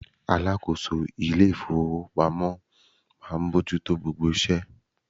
Alákòóso ilé iṣẹ́ ìfowópamọ́ máa ń bójú tó gbogbo iṣẹ́.